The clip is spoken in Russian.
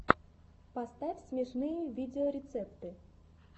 поставь смешные видеорецепты